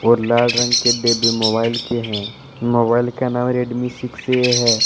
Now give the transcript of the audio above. और लाल रंग के डिब्बे मोबाइल के हैं मोबाइल का नाम रेडमी सिक्स ए है।